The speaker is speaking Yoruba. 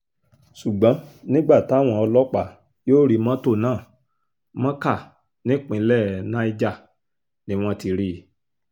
ṣùgbọ́n nígbà táwọn ọlọ́pàá yóò rí mọ́tò náà mọ́kà nípínlẹ̀ niger ni wọ́n ti rí i